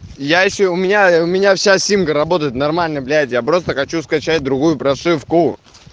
я ещё у меня у меня вся симка работает нормально блять я просто хочу скачать другую прошивку